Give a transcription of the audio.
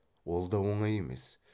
ол да оңай емес